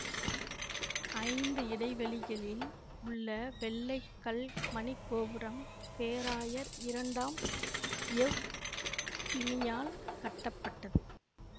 ஐந்து இடைவெளிகளில் உள்ள வெள்ளை கல் மணி கோபுரம் பேராயர் இரண்டாம் எவ் பிமியால் கட்டப்பட்டது